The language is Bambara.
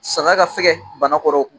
San ka fɛ banakɔrɔ.